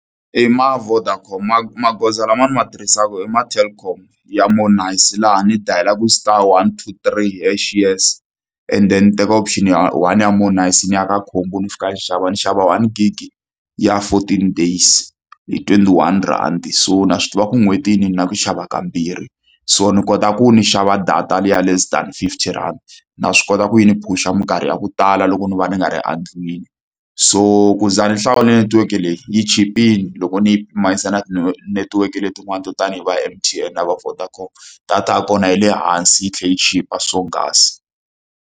I ma Vodacom magoza lama ni ma tirhisaka i ma Telkom ya more nice, laha ni dayilaka star one two three hash yes and then ndzi teka option ya one ya more nice, ni ya ka khombo ni fika ni xava. Ni xava one gig ya fourteen days hi twenty-one rhandi. So ni a swi tiva ku en'hwetini ni na ku xava kambirhi. So ni kota ku ndzi xava data liya ya less than fifty rand, na swi kota ku yi ni phush-a minkarhi ya ku tala loko ni va ni nga ri endlwini. So ku za ndzi hlawula netiweke leyi, yi chipile loko ni yi pimanisa na netiweke letin'wani to tanihi va ya M_T_N na va Vodacom. Data ya kona yi le hansi yi tlhela yi chipa swonghasi.